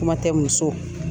Kuma tɛ muso